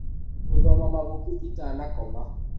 Ngũthoma mabuku itanakoma.